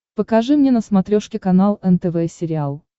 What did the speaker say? покажи мне на смотрешке канал нтв сериал